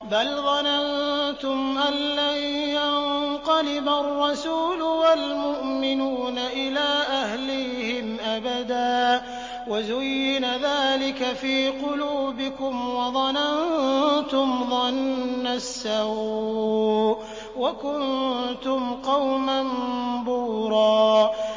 بَلْ ظَنَنتُمْ أَن لَّن يَنقَلِبَ الرَّسُولُ وَالْمُؤْمِنُونَ إِلَىٰ أَهْلِيهِمْ أَبَدًا وَزُيِّنَ ذَٰلِكَ فِي قُلُوبِكُمْ وَظَنَنتُمْ ظَنَّ السَّوْءِ وَكُنتُمْ قَوْمًا بُورًا